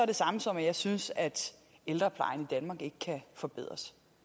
det samme som at jeg synes at ældreplejen i danmark ikke kan forbedres